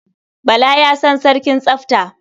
Bala ya san sarkin tsafta.